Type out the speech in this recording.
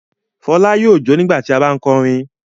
Fọlá yóò jó nígbà tí a bá ń kọrin.